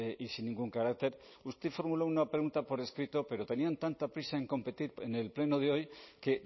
y sin ningún carácter usted formuló una pregunta por escrito pero tenían tanta prisa en competir en el pleno de hoy que